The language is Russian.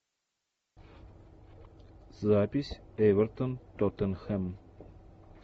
запись эвертон тоттенхэм